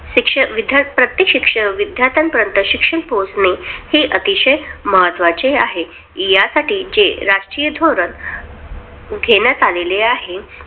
शिक्ष विध्या प्रत्येक विद्यार्थ्यांपर्यंत शिक्षण पोहचणे, हे अतिशय महत्वाचे आहे. या साठीचे जे राष्ट्रीय धोरण घेण्यात आलेले आहे.